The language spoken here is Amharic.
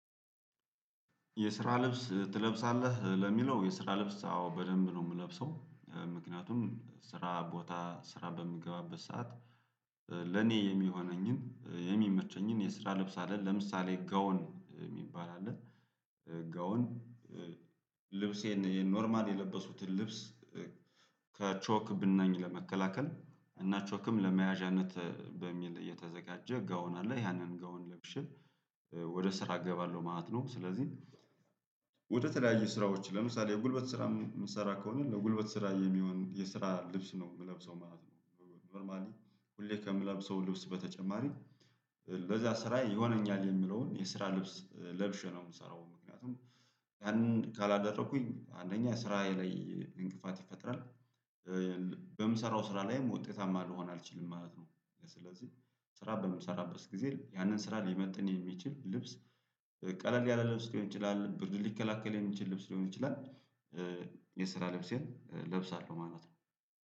የስራ ልብስ ትለብሳለህ ለሚለው የስራ ልብስ አዎ በደንብ ነው የምለብሰው። ምክንያቱም ስራ ቦታ ስራ በምገባበት ሰዓት። ለኔ የሚሆነኝን የሚመቸኝን የስራ ልብስ አለን ለምሳሌ ጋዎን የሚባል አለ። ጋዎን። ልብሴን ይሄን ኖርማል የለበሱኩትን ልብስ። ከቾክ ብናኝ ለመከላከል እና ቾክም ለመያዣነት በሚል እየተዘጋጀ ጋውን አለ ያንን ጋውን ለብሼ ወደ ስራ እገባለሁ ማለት ነው። ስለዚህ ወደ ተለያዩ ስራዎች ለምሳሌ የጉልበት ስራ የምትሰራ ከሆነ ለጉልበት ስራ የሚሆን የስራ ልብስ ነው የምለብሰው ማለት ነው። ኖርማሊ ሁሌ ከምለብሰው ልብስ በተጨማሪ ለዚያ ስራ ይሆነኛል የሚለውን የስራ ልብስ ለብሼ ነው የምሰራው ምክንያቱም ያንን ካላደረኩኝ አንደኛ ስራ ላይ እንቅፋት ይፈጥራል። በምሰራው ስራ ላይም ወጤታማ ልሆን አልችልም ማለት ነው። ስለዚህ ስራ በምሰራበት ጊዜ ያንን ስራ ሊመጥን የሚችል ልብስ። ቀለል ያላ ልብስ ሊሆን ይችላል ብርድ ሊከላከል የሚችል ልብስ ሊሆን ይችላል። የስራ ልብሴን እለብሳለሁ ማለት ነው